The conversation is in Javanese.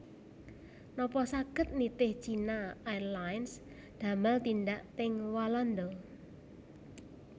Nopo saget nitih China Airlines damel tindak teng Walanda